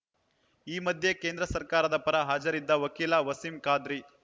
ಈ ಮಧ್ಯೆ ಕೇಂದ್ರ ಸರ್ಕಾರದ ಪರ ಹಾಜರಿದ್ದ ವಕೀಲ ವಸೀಂ ಖಾದ್ರಿ